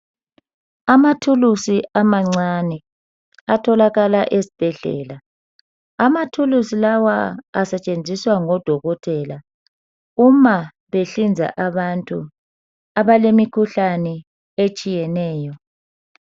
Amathulusi amancane atholakala ezibhedlela. Amathulusi lawa asetshenziswa ngodokotela uma behlinza abantu abalemikhuhlane etshiyeneyo.